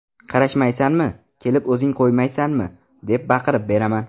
Qarashmaysanmi, kelib o‘zing qo‘ymaysanmi” deb baqirib beraman.